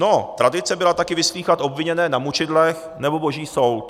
No, tradice byla taky vyslýchat obviněné na mučidlech nebo boží soud.